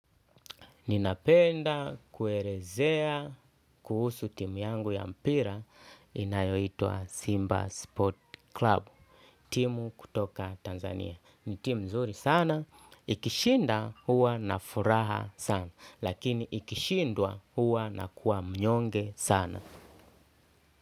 Ninapenda kuelezea kuhusu timu yangu ya mpira inayoitwa Simba Sport Club. Timu kutoka Tanzania. Ni timu mzuri sana. Ikishinda huwa na furaha sana. Lakini ikishindwa huwa nakuwa mnyonge sana.